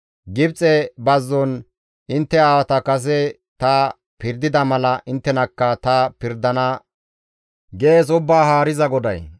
Gibxe bazzon intte aawata kase ta pirdida mala inttenakka ta pirdana gees Ubbaa Haariza GODAY.